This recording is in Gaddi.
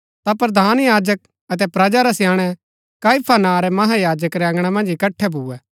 ता प्रधान याजक अतै प्रजा रै स्याणै काइफा नां रै महायाजक रै अँगणा मन्ज इकट्ठै भुऐ